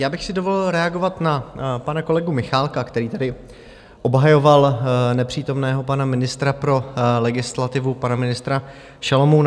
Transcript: Já bych si dovolil reagovat na pana kolegu Michálka, který tedy obhajoval nepřítomného pana ministra pro legislativu, pana ministra Šalomouna.